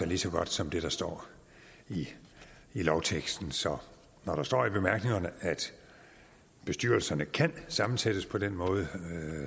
lige så godt som det der står i lovteksten så når der står i bemærkningerne at bestyrelserne kan sammensættes på den måde